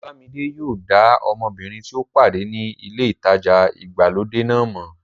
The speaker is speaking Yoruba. Ọláyẹmí yóò dá ọmọbìnrin tí ó pàdé ní ilé ìtajà ìgbàlódé náà mọ̀